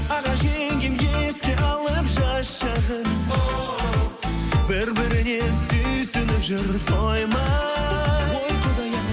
аға жеңгем еске алып жас жағын оу бір біріне сүйсініп жүр тоймай ой құдай ай